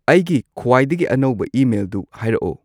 ꯑꯩꯒꯤ ꯈ꯭ꯋꯥꯏꯗꯒꯤ ꯑꯅꯧꯕ ꯏꯃꯦꯜꯗꯨ ꯍꯥꯏꯔꯛꯑꯣ